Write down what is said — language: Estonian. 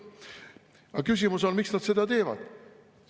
Aga küsimus on: miks nad seda teevad?